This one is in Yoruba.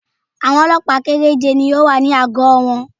Àwọn Ọlọ́pàá kẹ́rẹ́je ni ó wà ní àgọ́ wọn